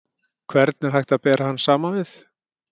Hvern er hægt að bera hann saman við?